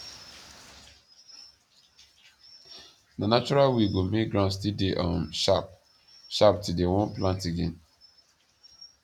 na natural way go make ground still dey um sharp sharp till dey wan plant again